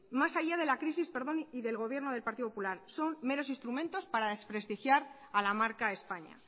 más allá de la crisis y del gobierno del partido popular son meros instrumentos para desprestigiar a la marca españa